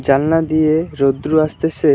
জানলা দিয়ে রোদ্রু আসতেসে।